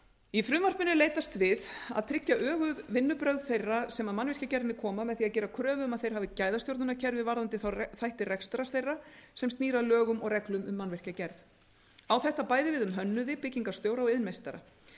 í frumvarpinu er leitast við að tryggja öguð vinnubrögð þeirra sem að mannvirkjagerðinni koma með því að gera kröfu um að þeir hafi gæðastjórnunarkerfi varðandi þá þætti rekstrar þeirra sem snýr að lögum og reglum um mannvirkjagerð á þetta bæði við um hönnuði byggingarstjóra og iðnmeistara